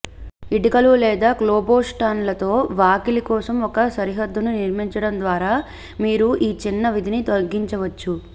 ఇటుకలు లేదా కోబ్లెస్టోన్లతో వాకిలి కోసం ఒక సరిహద్దుని నిర్మించడం ద్వారా మీరు ఈ చిన్న విధిని తగ్గించవచ్చు